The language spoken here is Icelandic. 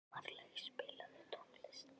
Marlaug, spilaðu tónlist.